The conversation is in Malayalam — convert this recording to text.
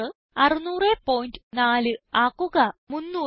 600 6004 ആക്കുക